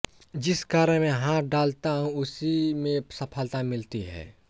जिस कार्य में हाथ डालता हूँ उसी में सफलता मिलती है